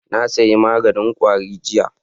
Na sayi maganin kwari jiya